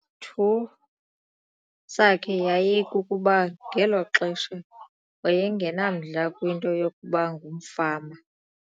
thu sakhe yayikukuba ngelo xesha waye ngenamdla kwinto yokuba ngumfama.